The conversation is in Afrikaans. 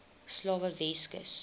slawe weskus